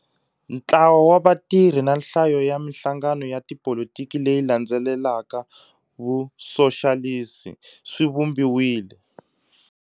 Ntlawa wa vatirhi na nhlayo ya minhlangano ya tipolitiki leyi landzelaka vusoxalisi swi vumbiwile.